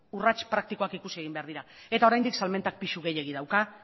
urrats praktikoak ikusi egin behar dira eta oraindik salmentak pisu gehiegi dauka